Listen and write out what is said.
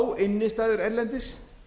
á innstæður erlendis